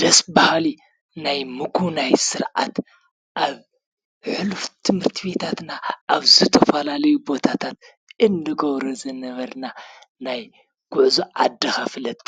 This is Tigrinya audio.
ደስ በሃሊ!!! ናይ ምጉብናይ ስርዓት አብ ሕሉፍ ትምህርትቤታትና ኣብ ዝተፈላለዩ ቦታታት እንገብሮ ዝነበርና ናይ ጉዕዞ ዓድኻ ፍለጥ